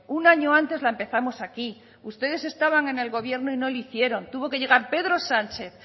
un año antes la empezamos aquí ustedes estaban en el gobierno y no lo hicieron tuvo que llegar pedro sánchez